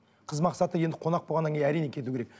қыз мақсаты енді қонақ болғаннан кейін әрине кету керек